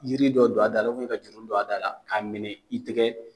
Jiri dɔ don a da la ka juru don a da la k'a minɛ i tɛgɛ